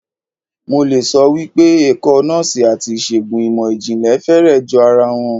Mo le sọ wípé ẹ̀kọ́ Nọ́ọ́sì àti ìṣègùn ìmò ìjìnlẹ̀ fẹ́rẹ̀ jọ ara wọn.